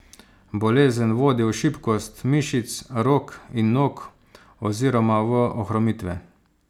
Bolezen vodi v šibkost mišic rok in nog oziroma v ohromitve.